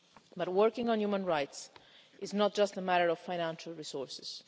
But working on human rights is not just a matter of financial resources.